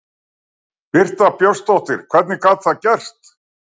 Birta Björnsdóttir: Hvernig gat það gerst?